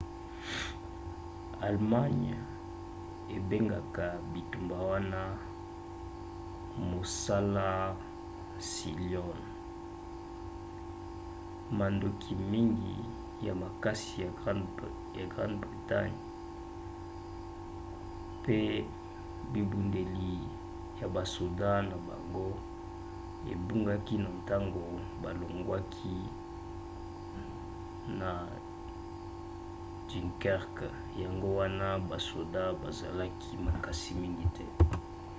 allemagne ebengaka bitumba wana mosala sealion". mandoki mingi ya makasi ya grande bretagne pe bibundeli ya basoda na bango ebungaki na ntango balongwaki na dunkerque yango wana basoda bazalaki makasi mingi te